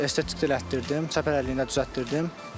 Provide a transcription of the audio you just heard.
Estetik də elətdirdim, çəpər əyriliyini də düzəltdirdim.